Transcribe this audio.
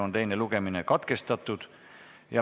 Teine lugemine on katkestatud.